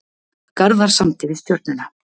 Garðar samdi við Stjörnuna